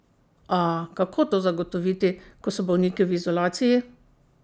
A, kako to zagotoviti, ko so bolniki v izolaciji?